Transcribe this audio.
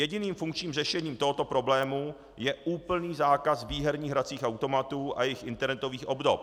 Jediným funkčním řešením tohoto problému je úplný zákaz výherních hracích automatů a jejich internetových obdob.